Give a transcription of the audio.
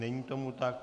Není tomu tak.